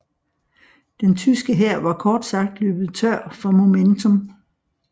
Den tyske hær var kort sagt løbet tør for momentum